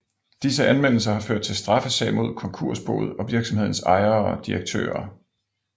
Disse anmeldelser har ført til straffesag mod konkursboet og virksomhedens ejere og direktører